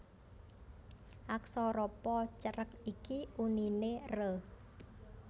Aksara Pa cerek iki uniné re